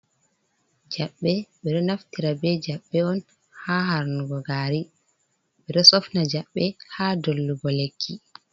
jabɓe ɓe ɗo naftira be jaɓɓe on ha harnugo gari, ɓedo sofna jabbe ha dollugo lekki.